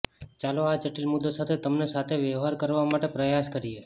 ચાલો આ જટિલ મુદ્દો સાથે તમને સાથે વ્યવહાર કરવા માટે પ્રયાસ કરીએ